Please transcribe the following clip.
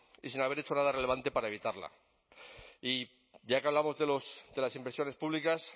y sin haber hecho nada relevante para evitarla y ya que hablamos de las inversiones públicas